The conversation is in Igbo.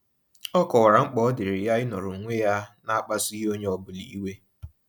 Ọ kọwara mkpa ọ diiri ya ịnọrọ onwe ya na-akpasughị onye ọbụla iwe.